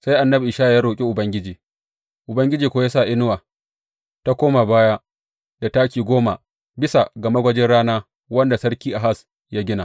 Sai annabi Ishaya ya roƙi Ubangiji, Ubangiji kuwa ya sa inuwa ta koma baya da taki goma bisa ga magwajin rana wanda Sarki Ahaz ya gina.